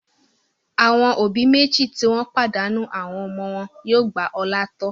Àwọn òbí méjì tí wọ́n pàdánù àwọn ọmọ wọn yóò gba Ọlá tọ́.